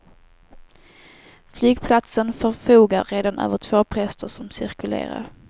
Flygplatsen förfogar redan över två präster som cirkulerar.